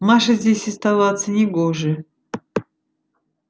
маше здесь оставаться не гоже